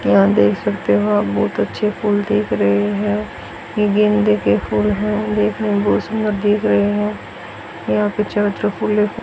यहां देख सकते हो आप बहुत अच्छे फूल दिख रहे हैं ये गेंदे के फूल हैं और देखने में बहुत सुंदर दिख रहे हैं यहां पे चारों तरफ फूल ही फूल --